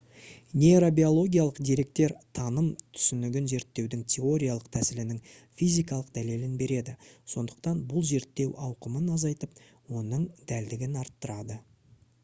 нейробиологиялық деректер таным түсінігін зерттеудің теориялық тәсілінің физикалық дәлелін береді сондықтан бұл зерттеу ауқымын азайтып оның дәлдігін арттырады